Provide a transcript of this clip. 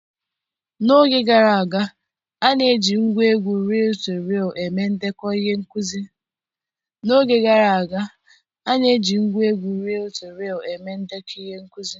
N'oge gara aga, a na-eji ngwa egwu riil to riil eme ndekọ ihe nkuzi